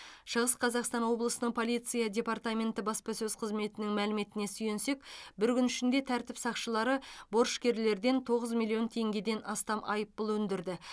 шығыс қазақстан облысының полиция департаменті баспасөз қызметінің мәліметіне сүйенсек бір күн ішінде тәртіп сақшылары борышкерлерден тоғыз миллион теңгеден астам айыппұл өндірді